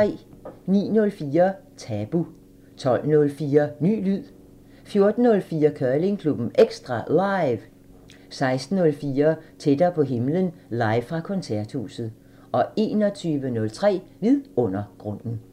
09:04: Tabu 12:04: Ny lyd 14:04: Curlingklubben EKSTRA LIVE 16:04: Tættere på himlen – live fra Koncerthuset 21:03: Vidundergrunden